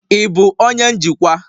Ị bụ onye njikwa?